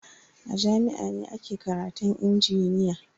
A jami'a ne ake karatun injiniya.